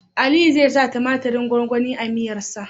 Aliyu zai sa tumatirin gwangwani a miyar sa